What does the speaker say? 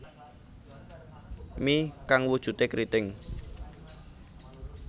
Mi kang wujude kriting